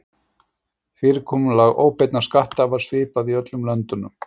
Fyrirkomulag óbeinna skatta er svipað í öllum löndunum.